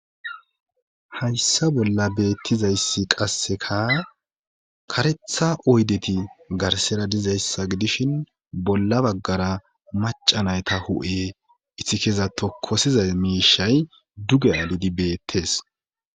Hayssa bolla beettizayssi qasseka karetha oydeti garsera dizayssa gidishin bolla baggara macanayta hu7e ithikeza tokosizay miishay duge alidi beettes.